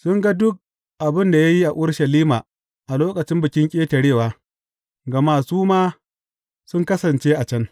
Sun ga duk abin da ya yi a Urushalima a lokacin Bikin Ƙetarewa, gama su ma sun kasance a can.